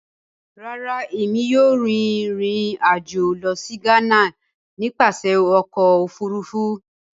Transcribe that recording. Rárá, Èmí kìí yóò rìn ìrìn ajo lọ si Ghana nípasẹ Ọkọ òfurufú